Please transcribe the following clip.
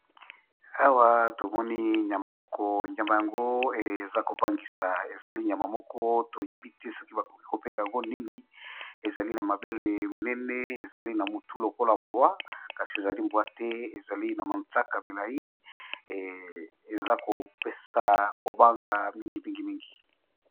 Awa tomoni nyama moko eza kobangisa eza ma mabele minene pe na mutu lokola mbwa kasi eza mbwa te pe eza KO banga mingi .